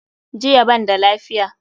JIya banda lafiya.